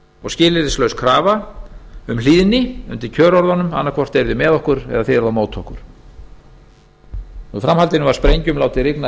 og skilyrðislaus krafa um hlýðni undir kjörorðunum annaðhvort eruð þið með okkur eða þið eruð á móti okkur í framhaldinu var sprengjum látið rigna